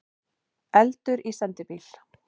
Eldur í sendibíl